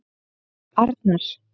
Arnar